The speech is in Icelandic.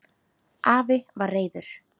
Afi var reiður.